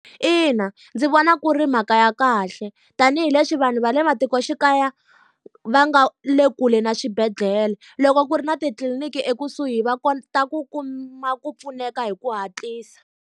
Ina ndzi vona ku ri mhaka ya kahle, tanihileswi vanhu va le matikoxikaya va nga le kule na swibedhlele. Loko ku ri na titliliniki ekusuhi va kota ku kuma ku pfuneka hi ku hatlisa.